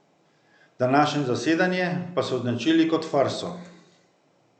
Današnje zasedanje pa so označili kot farso.